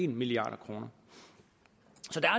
milliard kroner